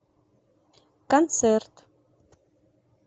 концерт